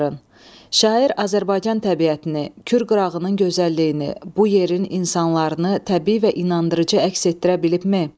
Şair Azərbaycan təbiətini, Kür qırağının gözəlliyini, bu yerin insanlarını təbii və inandırıcı əks etdirə bilibmi?